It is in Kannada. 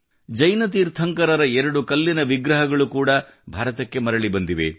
ಜೈನ ತೀರ್ಥಂಕರರ ಎರಡು ಕಲ್ಲಿನ ವಿಗ್ರಹಗಳು ಕೂಡ ಭಾರತಕ್ಕೆ ಮರಳಿ ಬಂದಿವೆ